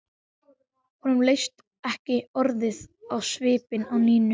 Honum leist ekki orðið á svipinn á Nínu.